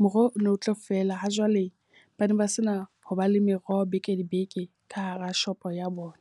Moroho o no tlo fela ha jwale ba ne ba se na ho ba le meroho beke le beke ka hara shopo ya bona.